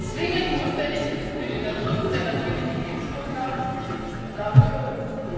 zwingend notwendig ist für den Schutz der natürlichen Lebensgrundlagen und damit für uns.